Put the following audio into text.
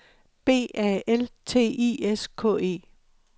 B A L T I S K E